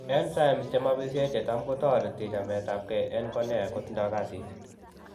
Enzymes che mabyisye chetam kotereti chameetapkeey en cornea kotindo kasit.